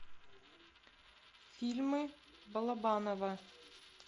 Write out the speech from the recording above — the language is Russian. фильмы балабанова